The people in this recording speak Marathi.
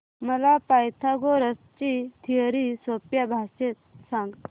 मला पायथागोरस ची थिअरी सोप्या भाषेत सांग